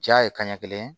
Ja ye kaɲɛ kelen